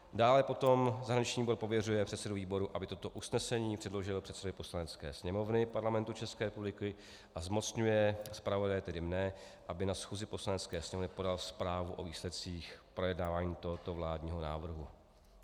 Dále potom zahraniční výbor pověřuje předsedu výboru, aby toto usnesení předložil předsedovi Poslanecké sněmovny Parlamentu České republiky, a zmocňuje zpravodaje, tedy mne, aby na schůzi Poslanecké sněmovny podal zprávu o výsledcích projednávání tohoto vládního návrhu.